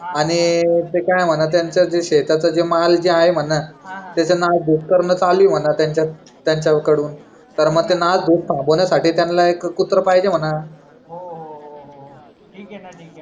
ठीक आहे ना ठीक आहे ना